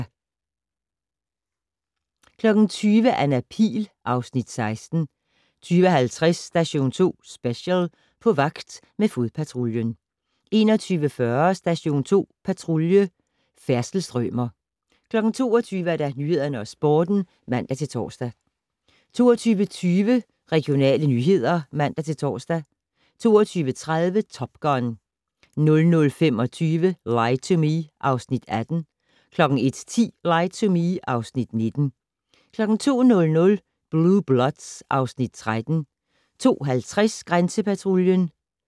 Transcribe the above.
20:00: Anna Pihl (Afs. 16) 20:50: Station 2 Special: På vagt med fodpatruljen 21:40: Station 2 Patrulje: Færdselsstrømer 22:00: Nyhederne og Sporten (man-tor) 22:20: Regionale nyheder (man-tor) 22:30: Top Gun 00:25: Lie to Me (Afs. 18) 01:10: Lie to Me (Afs. 19) 02:00: Blue Bloods (Afs. 13) 02:50: Grænsepatruljen